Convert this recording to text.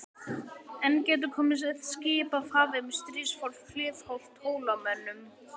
Enn gætu komið skip af hafi með stríðsfólk hliðhollt Hólamönnum.